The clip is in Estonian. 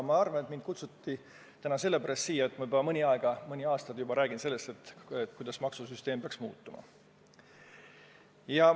Ma arvan, et mind kutsuti täna sellepärast siia, et ma juba mõnda aega olen rääkinud sellest, kuidas maksusüsteem peaks muutuma.